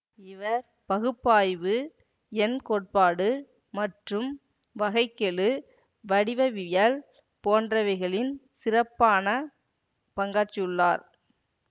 இவர் பகுப்பாய்வு எண் கோட்பாடு மற்றும் வகை கெழு வடிவவியல் போன்றவைகளின் சிறப்பான பங்காற்றியுள்ளார்